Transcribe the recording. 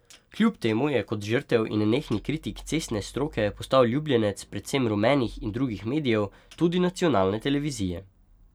Kljub temu je kot žrtev in nenehni kritik cestne stroke postal ljubljenec predvsem rumenih in drugih medijev, tudi nacionalne televizije.